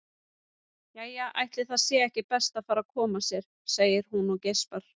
Jæja, ætli það sé ekki best að fara að koma sér, segir hún og geispar.